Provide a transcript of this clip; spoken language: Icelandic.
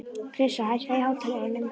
Krissa, hækkaðu í hátalaranum.